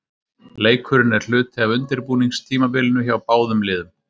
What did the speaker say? Leikurinn er hluti af undirbúningstímabilinu hjá báðum liðum.